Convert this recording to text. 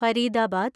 Faridabad